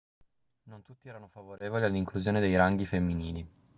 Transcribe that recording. non tutti erano favorevoli all'inclusione dei ranghi femminili